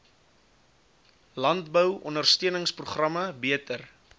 landbou ondersteuningsprogramme beter